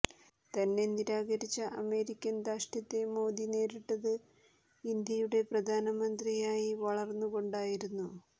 തന്നെ നിരാകരിച്ച അമേരിക്കൻ ധാർഷ്ട്യത്തെ മോദി നേരിട്ടത് ഇന്ത്യയുടെ പ്രധാനമന്ത്രിയായി വളർന്നു കൊണ്ടായിരുന്നു